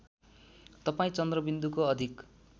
तपाईँ चन्द्रबिन्दुको अधिक